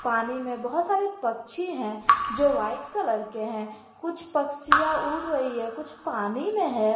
पानी में बहोत सारे पक्षी हैं जो वाइट कलर के हैं कुछ पक्षियां उड़ रही है कुछ पानी में है।